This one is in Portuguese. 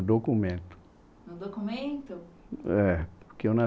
Documento. No documento? É, porque eu